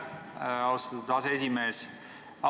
Aitäh, austatud aseesimees!